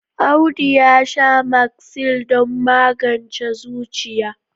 Audu ya sha Magsil don magance zuciya.